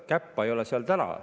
Käppa ei ole seal täna.